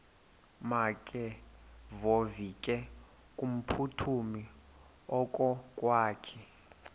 makevovike kumphuthumi okokwakhe